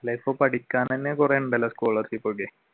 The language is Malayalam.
അല്ല ഇപ്പൊ പഠിക്കാൻ തന്നെ കുറെ ഉണ്ടല്ലോ scholarship ഒക്കെ